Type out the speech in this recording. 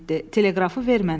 Teleqrafı ver mənə.